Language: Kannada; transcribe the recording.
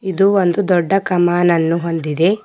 ಇದು ಒಂದು ದೊಡ್ಡ ಕಮಾನನ್ನು ಹೊಂದಿದೆ.